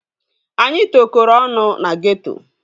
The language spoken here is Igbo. Anyị tokoro ọnụ na geeto